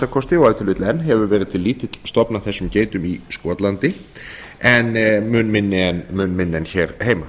kosti og ef til vill enn hefur verið til lítill stofn af þessum geitum í skotlandi en mun minni en hér heima